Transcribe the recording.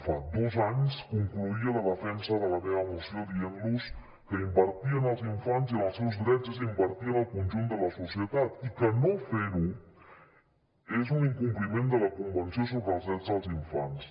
fa dos anys concloïa la defensa de la meva moció dient los que invertir en els infants i en els seus drets és invertir en el conjunt de la societat i que no fer ho és un incompliment de la convenció sobre els drets dels infants